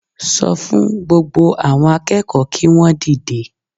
Sọ fún gbogbo àwọn akẹ́kọ̀ọ́ kí wọn dìde